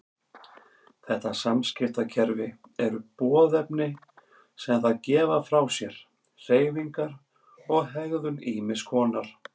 Þetta samskiptakerfi eru boðefni sem þær gefa frá sér, hreyfingar og hegðun ýmiss konar.